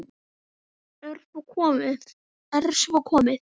Er svo komið?